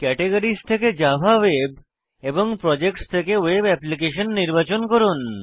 categories থেকে Java web এবং projects থেকে ভেব অ্যাপ্লিকেশন নির্বাচন করুন